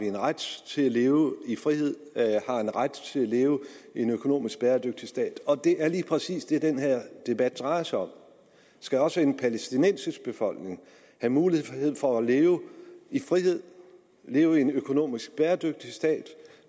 en ret til at leve i frihed har en ret til at leve i en økonomisk bæredygtig stat det er lige præcis det den her debat drejer sig om skal også en palæstinensisk befolkning have mulighed for at leve i frihed leve i en økonomisk bæredygtig stat